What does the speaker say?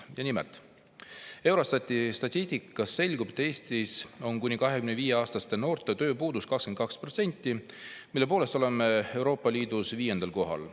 Ja nimelt, Eurostati statistikast selgub, et Eestis on kuni 25-aastaste noorte tööpuudus 22%, mille poolest oleme Euroopa Liidus viiendal kohal.